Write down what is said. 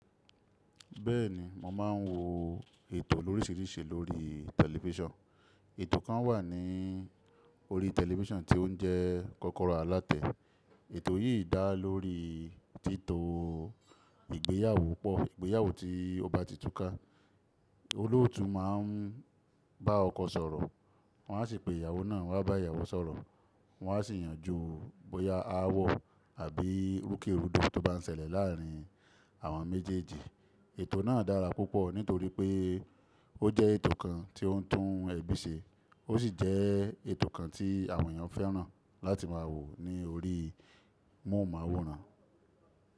Bẹ́ẹ̀ni, mo máa ń wo ètò lóríṣiríṣi lórí tẹlifísàn. Ètò kan wà ní orí tẹlifísàn tí ó ń jẹ́ kọ́kọ́rọ́ alátẹ. Ètò yìí dá lórí títọ igbéyàwó pọ̀, ìgbéyàwó tí ó bá ti túká. Olóòtú máa ń bá ọkọ sọ̀rọ̀, wọ́n á sì pe ìyàwó náà wá bá ìyàwó sọ̀rọ̀, wọ́n á sì yànjú bóyá aáwọ̀ àbí rúkèrúdò tó bá ń ṣẹlẹ̀ láàárín àwọn méjèèjì. Ètò náà dára púpọ̀ nítorí pé ó jẹ́ ètò kan tí ó ń tún ẹbí ṣe, ó sì jẹ́ ètò kan tí àwọn èèyàn fẹ́ràn láti máa wò ní orí móhùnmáwòrán.